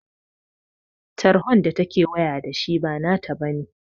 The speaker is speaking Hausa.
Tarhon da ta ke waya da shi ba na ta bane